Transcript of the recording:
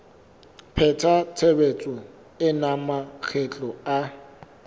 pheta tshebetso ena makgetlo a